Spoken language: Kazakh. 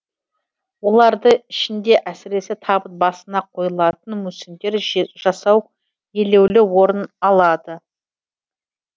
олардың ішінде әсіресе табыт басына қойылатын мүсіндер жасау елеулі орын алды